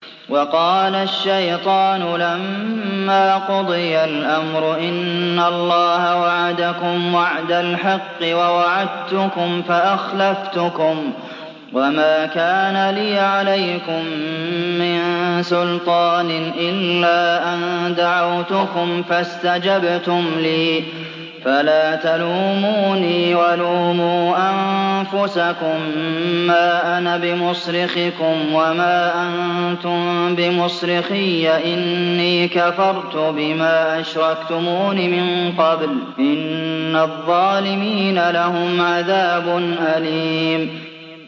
وَقَالَ الشَّيْطَانُ لَمَّا قُضِيَ الْأَمْرُ إِنَّ اللَّهَ وَعَدَكُمْ وَعْدَ الْحَقِّ وَوَعَدتُّكُمْ فَأَخْلَفْتُكُمْ ۖ وَمَا كَانَ لِيَ عَلَيْكُم مِّن سُلْطَانٍ إِلَّا أَن دَعَوْتُكُمْ فَاسْتَجَبْتُمْ لِي ۖ فَلَا تَلُومُونِي وَلُومُوا أَنفُسَكُم ۖ مَّا أَنَا بِمُصْرِخِكُمْ وَمَا أَنتُم بِمُصْرِخِيَّ ۖ إِنِّي كَفَرْتُ بِمَا أَشْرَكْتُمُونِ مِن قَبْلُ ۗ إِنَّ الظَّالِمِينَ لَهُمْ عَذَابٌ أَلِيمٌ